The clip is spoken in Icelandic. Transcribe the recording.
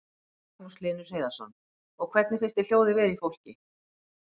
Magnús Hlynur Hreiðarsson: Og hvernig finnst þér hljóðið vera í fólki?